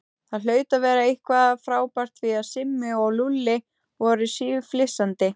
Það hlaut að vera eitthvað frábært því að Simmi og Lúlli voru síflissandi.